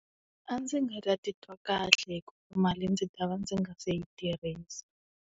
A ndzi nga ti twa kahle hikuva mali ndzi ta va ndzi nga se yi tirhisa.